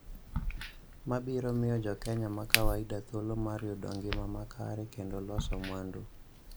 ma biro miyo jo Kenya ma kawaida thuolo mar yudo ngima makare kendo loso mwandu.